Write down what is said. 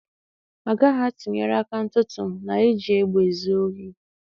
A gaghị atụnyere aka ntụtụ na iji egbe ezi ohi.